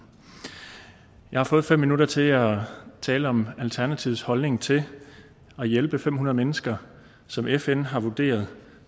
jeg har fået fem minutter til at tale om alternativets holdning til at hjælpe fem hundrede mennesker som fn har vurderet